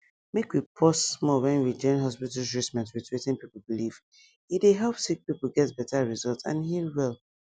make we pause small when we join hospital treatment with wetin people believe e dey help sick people get better result and heal well